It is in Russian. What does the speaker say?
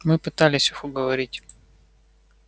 мы пытались их уговорить